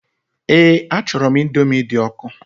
Eé, achọrọ m Indomi dị ọkụ.